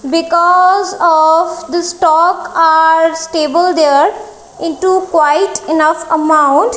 because of the stock are stable there in two quite enough amount.